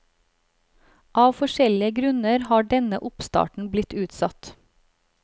Av forskjellige grunner har denne oppstarten blitt utsatt.